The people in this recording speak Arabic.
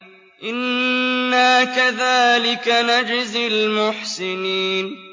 إِنَّا كَذَٰلِكَ نَجْزِي الْمُحْسِنِينَ